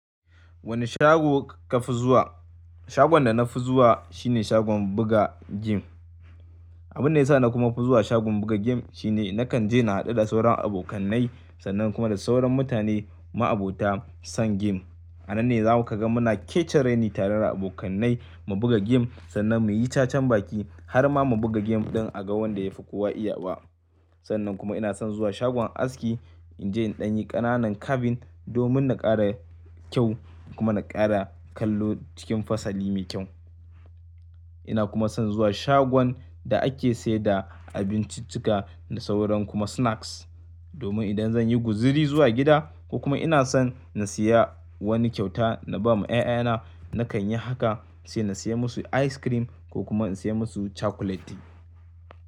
Wane shago ka fi zuwa? Shagon da na fi zuwa shine shagon buga game. Abin da ya sa na kuma fi zuwa shagon buga game shine nakan je na haɗu da sauran abokanai sannan kuma da sauran mutane ma'abota son game. A nan ne za ku ga muna kechareni tare da abokanai mu buga game sannan muyi cha chan baki har ma mu buga game don a gan wanda ya fi kowa iya ba. Sannan kuma ina son zuwa shagon aski in je in ɗanyi ƙananan kavin domin na ƙara kyau kuma na ƙara kallo cikin fasali mai kyau. Ina kuma son zuwa shagon da ake sayar da abinciccika da sauran kuma snacks domin idan zan yi guzuri zuwa gida ko kuma ina son na siya wani kyauta na ba ma 'ya'ya na nakan yi haka sai na siya musu ice cream ko kuma in siya musu chakuleti.